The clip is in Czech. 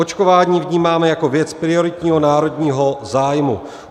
Očkování vnímáme jako věc prioritního národního zájmu.